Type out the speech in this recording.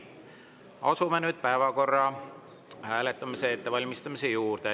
Asume nüüd päevakorra hääletamise ettevalmistamise juurde.